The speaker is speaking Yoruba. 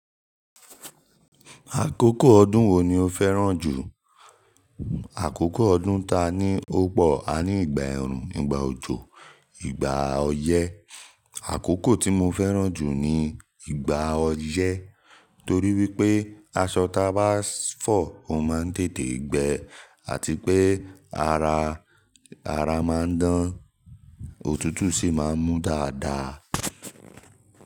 Àkókò ọdún wo ni o fẹ́ràn jù? Àkókò ọdún taa ni ó pọ̀, a ní ìgbà ẹ̀rùn, ìgbà òjò, ìgbà ọyẹ́. Àkókò tí mo fẹ́ràn jù ni ìgbà ọyẹ́ torí wípé aṣọ ta bá fọ̀ ó má ń tètè gbẹ àti pé ara, ara má ń dán, òtútù sì má ń mú dáadáa.